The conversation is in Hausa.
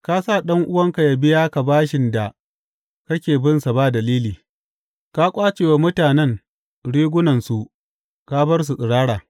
Ka sa ɗan’uwanka yă biya ka bashin da kake binsa ba dalili; ka ƙwace wa mutanen rigunansu ka bar su tsirara.